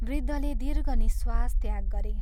वृद्धले दीर्घ निःश्वास त्याग गरे।